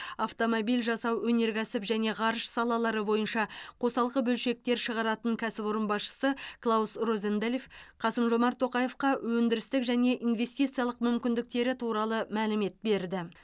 автомобиль жасау өнеркәсіп және ғарыш салалары бойынша қосалқы бөлшектер шығаратын кәсіпорын басшысы клаус розенфельд қасым жомарт тоқаевқа өндірістік және инвестициялық мүмкіндіктері туралы мәлімет берді